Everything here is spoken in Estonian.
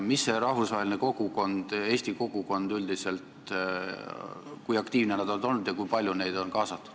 Kui aktiivselt on olnud kaasatud rahvusvaheline eesti kogukond ja kui aktiivsed nad ise on olnud?